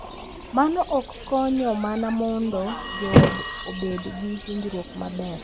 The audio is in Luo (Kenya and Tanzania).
Mano ok konyo mana mondo joot obed gi winjruok maber .